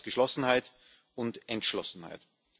Wir brauchen jetzt Geschlossenheit und Entschlossenheit.